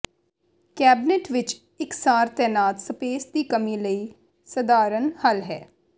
cabinet ਵਿਚ ਇਕਸਾਰ ਤੈਨਾਤ ਸਪੇਸ ਦੀ ਕਮੀ ਲਈ ਸਧਾਰਨ ਹੱਲ ਹੈ